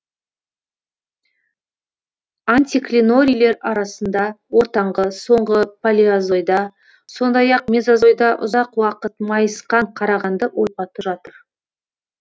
антиклинорийлер арасында ортаңғы соңғы палеозойда сондай ақ мезозойда ұзақ уақыт майысқан қарағанды ойпаты жатыр